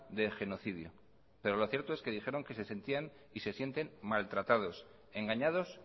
de genocidio pero lo cierto es que dijeron que se sentían y se sienten maltratados engañados